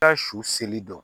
Taa su seli dɔn